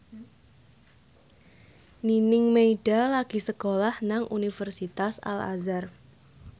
Nining Meida lagi sekolah nang Universitas Al Azhar